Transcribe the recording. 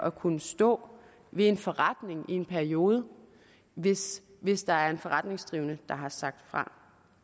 at kunne stå ved en forretning i en periode hvis hvis der er en forretningsdrivende der har sagt fra